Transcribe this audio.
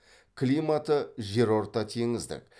климаты жерортатеңіздік